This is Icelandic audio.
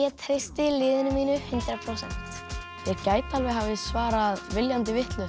treysti liðinu mínu hundrað prósent þeir gætu alveg hafa svarað viljandi vitlaust